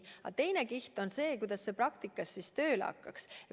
Teine kiht on aga see, kuidas see praktikas tööle hakkaks.